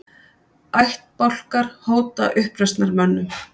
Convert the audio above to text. Ættbálkar hóta uppreisnarmönnum